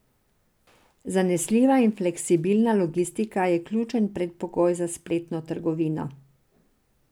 Zanesljiva in fleksibilna logistika je ključen predpogoj za spletno trgovino.